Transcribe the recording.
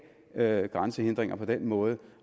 have grænsehindringer på den måde